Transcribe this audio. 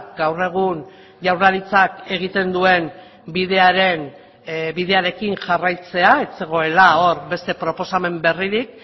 gaur egun jaurlaritzak egiten duen bidearen bidearekin jarraitzea ez zegoela hor beste proposamen berririk